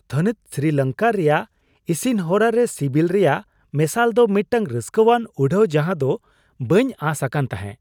ᱛᱷᱟᱹᱱᱤᱛ ᱥᱨᱤᱞᱚᱝᱠᱟ ᱨᱮᱭᱟᱜ ᱤᱥᱤᱱ ᱦᱚᱨᱟ ᱨᱮ ᱥᱤᱵᱤᱞ ᱨᱮᱭᱟᱜ ᱢᱮᱥᱟᱞ ᱫᱚ ᱢᱤᱫᱴᱟᱝ ᱨᱟᱹᱥᱠᱟᱹᱣᱟᱱ ᱩᱰᱷᱟᱣ ᱡᱟᱦᱟᱸ ᱫᱚ ᱵᱟᱹᱧ ᱟᱸᱥ ᱟᱠᱟᱱ ᱛᱟᱦᱮᱸ ᱾